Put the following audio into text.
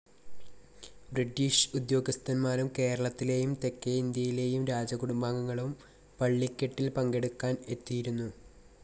British ഉദ്യോഗസ്ഥന്മാരും കേരളത്തിലേയും തെക്കെ ഇന്ത്യയിലെയും രാജകുടുംബാംഗങ്ങളും പള്ളിക്കെട്ടിൽ പങ്കെടുക്കാൻ എത്തിയിരുന്നു.